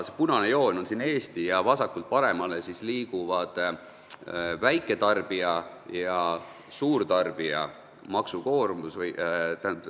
Punane joon tähistab Eestit ja vasakult paremale liigub elektri kilovatt-tunni hind väiketarbijal ja suurtarbijal.